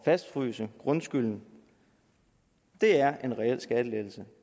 fastfryse grundskylden er en reel skattelettelse